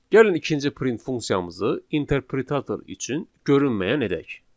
Gəlin ikinci print funksiyamızı interpretator üçün görünməyən edək.